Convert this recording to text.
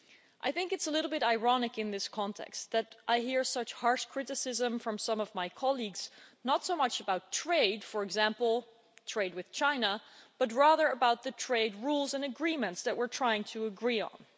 I think it's a little bit ironic in this context that I hear such harsh criticism from some of my colleagues, not so much about trade, for example trade with China but rather about the trade rules and agreements that we're trying to agree on.